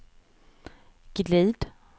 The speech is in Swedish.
glid